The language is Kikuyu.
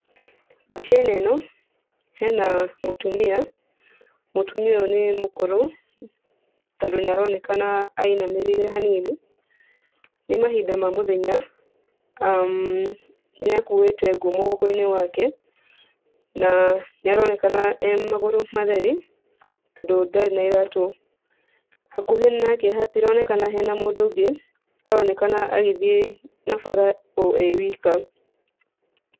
Mbica-inĩ ĩno hena mũtumia, mũtumia ũyũ nĩ mũkũrũ, tondũ nĩaronekana ainamĩrĩire hanini. Nĩ mahinda ma mũthenya nĩakuĩte ngu mũgongo-inĩ wake, na nĩ aronekana arĩ magũrũ matheri, tondũ ndarĩ na iratũ. Hakuhĩ nake hatironekana hena mũndũ ũngĩ, aronekana agĩthiĩ na bara o e wika.